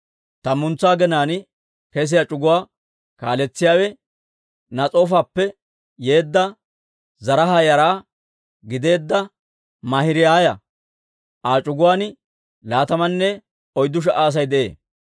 Tammantsa aginaan kesiyaa c'uguwaa kaaletsiyaawe Nas'oofappe yeedda, Zaraaha yara gideedda Maahiraaya; Aa c'uguwaan laatamanne oyddu sha"a Asay de'ee.